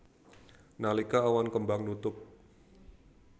Nalika awan kembang nutup